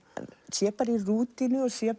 sé bara í rútínu og sé